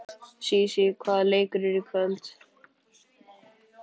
Sísí, hvaða leikir eru í kvöld?